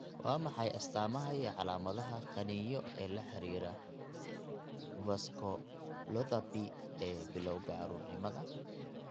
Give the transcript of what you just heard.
Waa maxay astamaha iyo calaamadaha qaniinyo ee la xidhiidha vasculopathy ee bilawga caruurnimada?